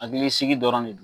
Hakili sigi dɔrɔn ne don.